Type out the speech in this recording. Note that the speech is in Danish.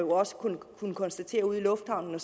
kunnet konstatere ude i lufthavnen